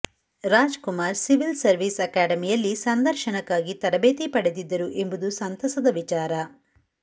Raj Kumar civil service ಅಕಾಡೆಮಿಯಲ್ಲಿ ಸಂದರ್ಶನಕ್ಕಾಗಿ ತರಬೇತಿ ಪಡೆದಿದ್ದರು ಎಂಬುದು ಸಂತಸದ ವಿಚಾರ